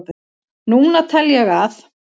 Núna tel ég að